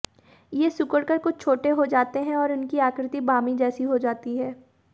ये सिकुड़कर कुछ छोटे हो जाते हैं और उनकी आकृति बामी जैसी हो जाती है